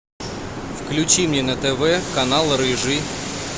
включи мне на тв канал рыжий